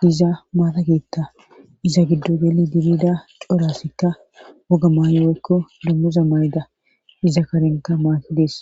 diza maatakeetta iza giddo geli dibida corasikka woga maaywoykko dummuza mayda iza karenka maaki dees